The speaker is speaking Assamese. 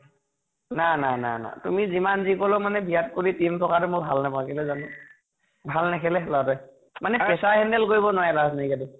না না না না । তুমি যিমান যি কʼলেও মই বিৰাট কোহলি team থকাতো মই ভাল নাপাওঁ, কেলৈ জানা নে । ভাল নেখেলে সেই লʼৰা তোৱে মানে pressure handle কৰিব নোৱাৰে